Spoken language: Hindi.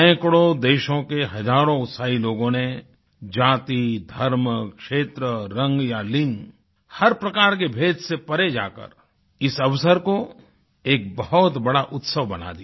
सैकड़ों देशों के हजारों उत्साही लोगों ने जाति धर्म क्षेत्र रंग या लिंग हर प्रकार के भेद से परे जाकर इस अवसर को एक बहुत बड़ा उत्सव बना दिया